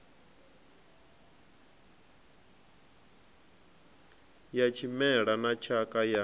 ya tshimela na tshakha ya